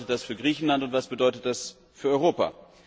Was bedeutet das für Griechenland und was bedeutet das für Europa?